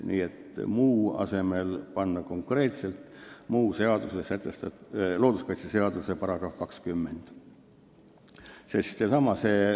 Nii et "muu" asemele tuleks panna konkreetselt "looduskaitseseaduse § 20".